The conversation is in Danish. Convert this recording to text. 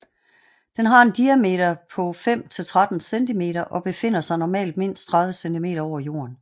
Den har en diameter på 5 til 13 centimeter og befinder sig normalt mindst 30 cm over jorden